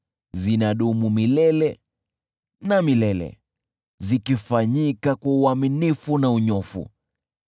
Zinadumu milele na milele, zikifanyika kwa uaminifu na unyofu.